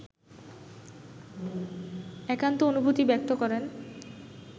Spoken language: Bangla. একান্ত অনুভূতি ব্যক্ত করেন